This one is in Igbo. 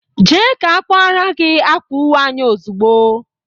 Jee ka a kwaara gị akwa uwe anyị ozugbo!